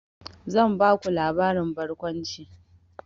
Zan baku labarin barkwanci.